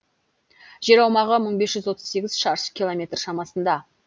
жер аумағы мың бес жүз отыз сегіз шаршы километр шамасында